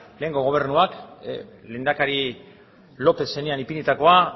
lehengo gobernua lehendakari lópez zenean ipinitakoa